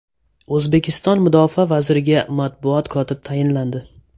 O‘zbekiston mudofaa vaziriga matbuot kotib tayinlandi.